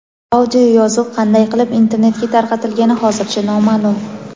Audioyozuv qanday qilib internetga tarqatilgani hozircha noma’lum.